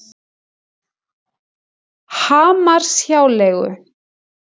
Hamarshjáleigu